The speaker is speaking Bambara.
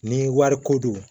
Ni wari ko don